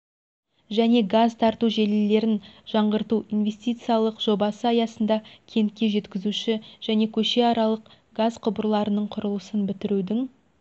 және газ тарату желілерін жаңғырту инвестициялық жобасы аясында кентке жеткізуші және көшеаралық газ құбырларының құрылысын бітірудің